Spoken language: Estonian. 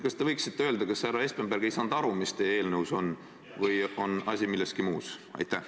Kas te võiksite öelda, kas härra Espenberg ei saanud aru, mis teie eelnõus on, või on asi milleski muus?